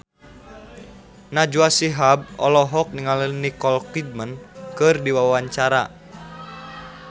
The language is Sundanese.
Najwa Shihab olohok ningali Nicole Kidman keur diwawancara